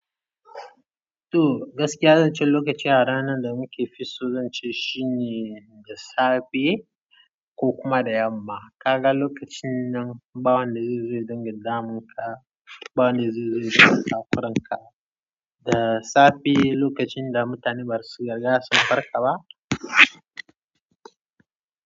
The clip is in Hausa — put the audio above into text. To, gaskiya zancen lokaci a ranar da muke fi so zance shine da safe ko kuma da yamma. Kaga lokacin nan, bawon da zai zo ya dinga damun ka, bawon da zai zo ya sa ka takuranka. Da safe lokacin da mutane basu gaga sun farka ba.